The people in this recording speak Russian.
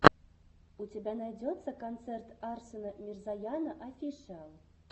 у тебя найдется концерт арсена мирзояна офишиал